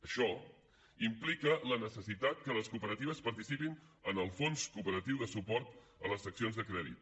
això implica la necessitat que les cooperatives participin en el fons cooperatiu de suport a les seccions de crèdit